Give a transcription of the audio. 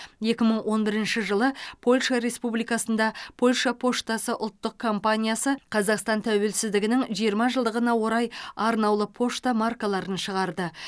екі мың он бірінші жылы польша республикасында польша поштасы ұлттық компаниясы қазақстан тәуелсіздігінің жиырма жылдығына орай арнаулы пошта маркаларын шығарды